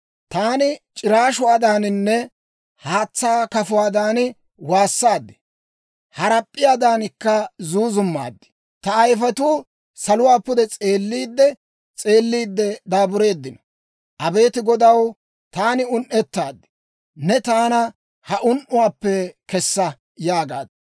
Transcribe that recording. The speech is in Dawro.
Taani c'iraashuwaadaaninne haatsaa kafuwaadan waassaad; harap'p'iyaadankka zuuzummaad. Ta ayifetuu saluwaa pude s'eelliidde s'eelliidde daabureeddino. Abeet Godaw, taani un"ettaad; neeni taana ha un"uwaappe kessa!» yaagaad.